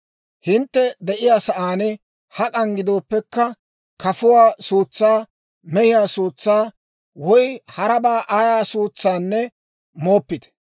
Hintte de'iyaa sa'aan hak'an gidooppekka, kafuwaa suutsaa, mehiyaa suutsaa woy harabaa ayaa suutsaanne mooppite.